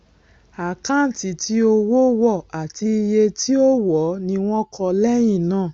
àkáǹtì tí owó wọ àti iye tí ó ó wọọ ni wọn kọ lẹyìn náà